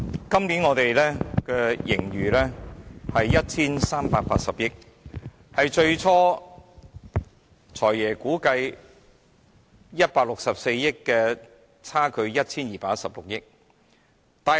今年的盈餘是 1,380 億元，與"財爺"最初估計的164億元相差 1,216 億元。